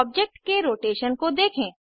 object के rotation को देखें